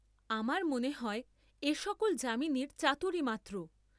আমার মনে হয় এ সকল যামিনীর চাতুরী মাত্র।